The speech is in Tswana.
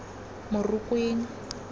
morokweng